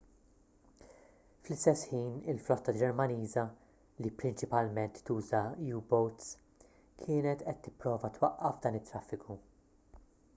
fl-istess ħin il-flotta ġermaniża li prinċipalment tuża u-boats kienet qed tipprova twaqqaf dan it-traffiku